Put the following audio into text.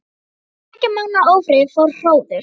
Eftir tveggja mánaða ófrið fór hróður